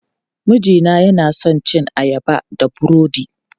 Mijina yana son cin ayaba da burodi.